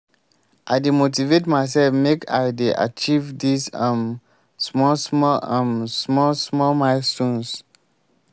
i dey motivate mysef make i dey achieve dese um small-small um small-small milestones.